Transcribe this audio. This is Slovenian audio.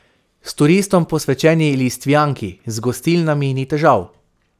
V turistom posvečeni Listvjanki z gostilnami ni težav.